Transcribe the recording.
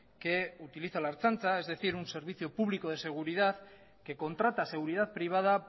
que utiliza la ertzaintza es decir un servicio público de seguridad que contrata seguridad privada